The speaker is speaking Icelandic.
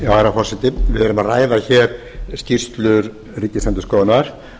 herra forseti við erum að ræða hér skýrslu ríkisendurskoðunar